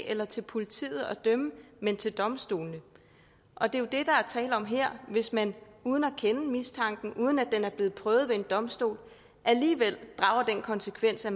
eller til politiet at dømme men til domstolene og det er jo det der er tale om her hvis man uden at kende mistanken uden at den er blevet prøvet ved en domstol alligevel drager den konsekvens at